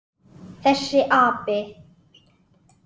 Þessi api!